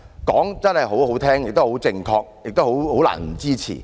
說得很動聽，亦很正確，難以不支持。